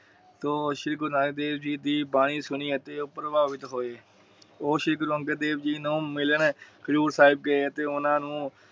ਤੋਂ ਸ਼੍ਰੀ ਗੁਰੂ ਨਾਨਕ ਦੇਵ ਜੀ ਦੀ ਬਾਣੀ ਸੁਣੀ ਅਤੇ ਉਹ ਪ੍ਰਭਾਭੀਤ ਹੋਏ। ਉਹ ਸ਼੍ਰੀ ਅੰਗਦ ਦੇਵ ਜੀ ਨੂੰ ਮਿਲਨ ਹਜੂਰ ਸਾਹਿਬ ਗਏ ਅਤੇ ਓਹਨਾ ਨੂੰ